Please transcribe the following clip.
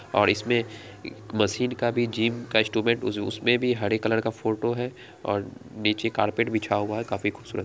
और इसमें मशीन का भी जिम का भी इंस्ट्रूमेंट उस उसमें भी हरे कलर का फोटो है और नीचे कारपेट बिछा हुआ है काफी खूबसूरत |